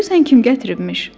Görürsən kim gətiribmiş?